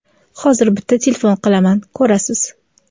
hozir bitta telefon qilaman, ko‘rasiz..